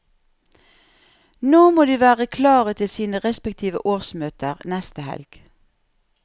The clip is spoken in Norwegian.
Nå må de være klare til sine respektive årsmøter neste helg.